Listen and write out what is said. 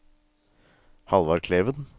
Hallvard Kleven